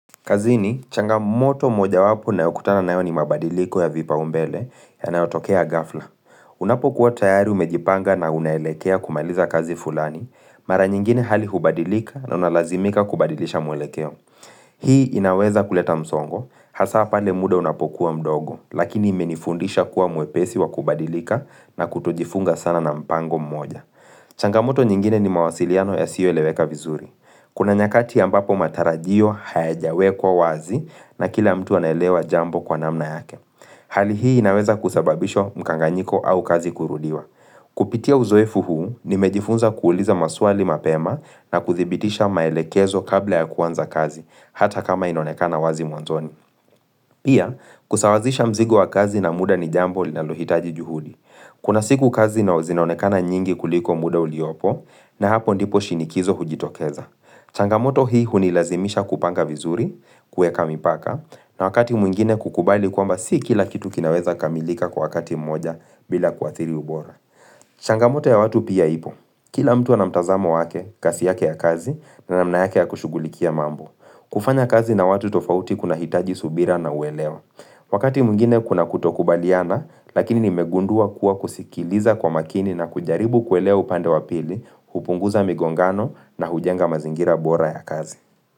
Kazini, changamoto mojawapo ninayokutana nayo ni mabadiliko ya vipaumbele yanayotokea ghafla. Unapokuwa tayari umejipanga na unaelekea kumaliza kazi fulani, mara nyingine hali hubadilika na unalazimika kubadilisha mwelekeo. Hii inaweza kuleta msongo, hasa pale muda unapokuwa mdogo, lakini imenifundisha kuwa mwepesi wa kubadilika na kutojifunga sana na mpango mmoja. Changamoto nyingine ni mawasiliano yasiyoeleweka vizuri. Kuna nyakati ambapo matarajio hayajawekwa wazi na kila mtu anaelewa jambo kwa namna yake. Hali hii inaweza kusababisha mkanganyiko au kazi kurudiwa. Kupitia uzoefu huu, nimejifunza kuuliza maswali mapema na kuthibitisha maelekezo kabla ya kuanza kazi, hata kama inonekana wazi mwanzoni. Pia, kusawazisha mzigo wa kazi na muda ni jambo linalohitaji juhudi. Kuna siku kazi zinonekana nyingi kuliko muda uliopo na hapo ndipo shinikizo hujitokeza. Changamoto hii hunilazimisha kupanga vizuri, kuweka mipaka na wakati mwingine kukubali kwamba si kila kitu kinaweza kamilika kwa wakati mmoja bila kuathiri ubora. Changamoto ya watu pia ipo, kila mtu naa mtazamo wake, kasi yake ya kazi na na mna yake ya kushugulikia mambo kufanya kazi na watu tofauti kunahitaji subira na uelewa Wakati mwingine kuna kutokubaliana, lakini nimegundua kuwa kusikiliza kwa makini na kujaribu kuelewa upande wa pili hupunguza migongano na hujenga mazingira bora ya kazi.